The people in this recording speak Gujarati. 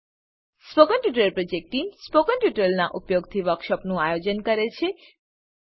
spoken tutorial project team spoken ટ્યુટોરીયલોનાં ઉપયોગથી વર્કશોપોનું આયોજન કરે છે